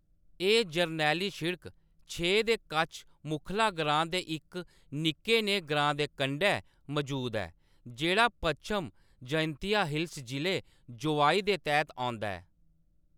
एह्‌‌ जरनैली शिड़क छे दे कच्छ मुखला ग्रांऽ दे इक निक्के नेह्‌‌ ग्रांऽ दे कंढै मजूद ऐ, जेह्‌‌ड़ा पच्छम जयंतिया हिल्स जिले, जोवाई दे तैह्‌त औंदा ऐ।